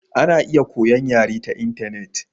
Ana iya koyon yare ta intanet.